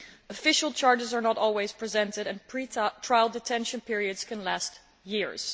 Official charges are not always filed and pre trial detention periods can last years.